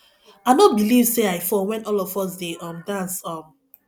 i no believe say i fall wen all of us dey um dance um